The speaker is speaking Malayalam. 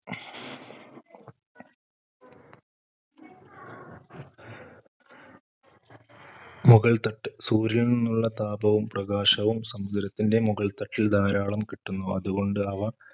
മുകൾത്തട്ട്, സൂര്യനിൽ നിന്നുള്ള താപവും പ്രകാശവും സമുദ്രത്തിന്‍റെ മുകൾത്തട്ടിൽ ധാരാളം കിട്ടുന്നു. അതുകൊണ്ട് അവ